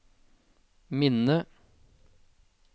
minne